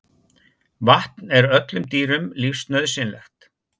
Vatn er öllum dýrum lífsnauðsynlegt.